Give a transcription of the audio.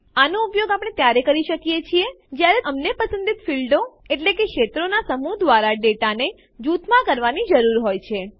આનો ઉપયોગ આપણે ત્યારે કરી શકીએ જયારે અમને પસંદિત ફીલ્ડો ક્ષેત્રો નાં સમૂહ દ્વારા ડેટાને જુથમાં કરવાની જરૂર હોય છે